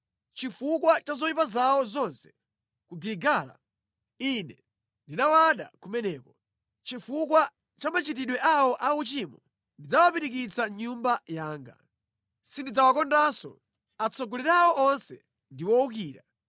“Chifukwa cha zoyipa zawo zonse ku Giligala, Ine ndinawada kumeneko. Chifukwa cha machitidwe awo auchimo, ndidzawapirikitsa mʼnyumba yanga. Sindidzawakondanso; atsogoleri awo onse ndi owukira.